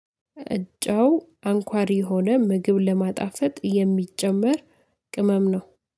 ጨው አንኳር የሆነ ምግብ ለማጣፈጥ የሚጨመር ቅመም ነው።